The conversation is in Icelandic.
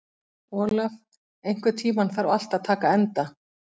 Olaf, einhvern tímann þarf allt að taka enda.